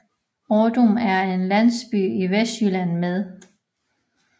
Ådum er en landsby i Vestjylland med